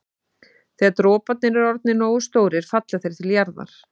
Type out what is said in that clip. Þegar droparnir eru orðnir nógu stórir falla þeir til jarðar.